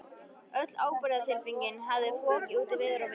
Öll ábyrgðartilfinning hafði fokið út í veður og vind.